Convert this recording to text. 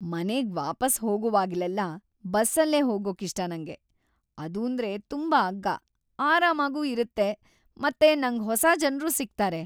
ಮನೆಗ್ ವಾಪಸ್ ಹೋಗೋವಾಗ್ಲೆಲ್ಲ ಬಸ್ಸಲ್ಲೇ ಹೋಗೋಕಿಷ್ಟ ನಂಗೆ. ಅದೂಂದ್ರೆ ತುಂಬಾ ಅಗ್ಗ, ಆರಾಮಾಗೂ ಇರತ್ತೆ ಮತ್ತೆ ನಂಗ್ ಹೊಸ ಜನ್ರೂ ಸಿಗ್ತಾರೆ.